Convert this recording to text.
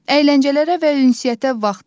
Əyləncələrə və ünsiyyətə vaxt ayırın.